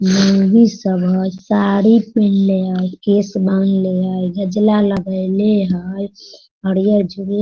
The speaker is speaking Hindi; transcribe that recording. साड़ी पहलें हई केस बांधले हई गजला लगइलें हई --